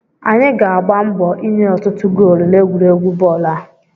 Anyị ga-agba mbọ ịnye ọtụtụ goolu n'egwuregwu bọọlụ a